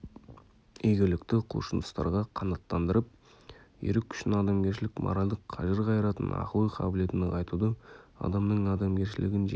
игілікті құлшыныстарға қанаттандырып ерік күшін адамгершілік моральдық қажыр-қайратын ақыл-ой қабілетін нығайтуды адамның адамгершілігін жеке